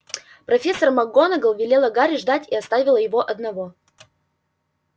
профессор макгонагалл велела гарри ждать и оставила его одного